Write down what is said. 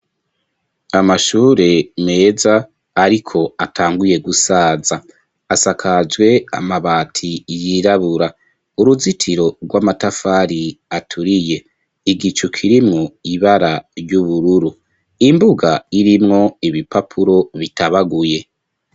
Amashure meza, ariko atanguye gusaza, asakajwe amabati yirabura, uruzitiro rw'amatafari aturiye, igicu kirimwo ibara ry'ubururu, imbuga irimwo ibipapuro bitabaguye.